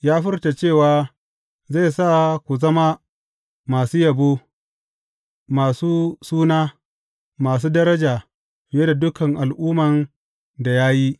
Ya furta cewa zai sa ku zama masu yabo, masu suna, masu daraja, fiye da dukan al’umman da ya yi.